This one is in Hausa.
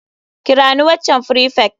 Kira ni waccan prefect.